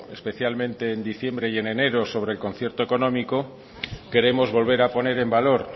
especialmente en diciembre y en enero sobre el concierto económico queremos volver a poner en valor